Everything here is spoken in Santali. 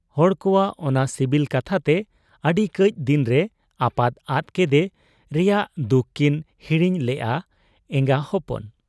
ᱦᱚᱲ ᱠᱚᱣᱟᱜ ᱚᱱᱟ ᱥᱤᱵᱤᱞ ᱠᱟᱛᱷᱟᱛᱮ ᱟᱹᱰᱤ ᱠᱟᱹᱡ ᱫᱤᱱᱨᱮ ᱟᱯᱟᱛ ᱟᱫ ᱠᱮᱫᱮ ᱨᱮᱭᱟᱝ ᱫᱩᱠ ᱠᱤᱱ ᱦᱤᱲᱤᱧ ᱞᱮᱜ ᱟ ᱮᱸᱜᱟ ᱦᱚᱯᱚᱱ ᱾